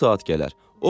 Bu saat gələr.